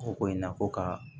O ko in na ko ka